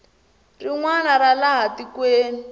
rin wana ra laha tikweni